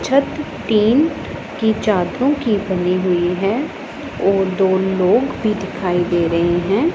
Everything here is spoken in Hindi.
छत टीन की चादरों की बनी हुई है और दो लोग भी दिखाई दे रहे हैं।